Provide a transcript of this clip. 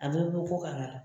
A bɛɛ bi bɔ kɔkan ka na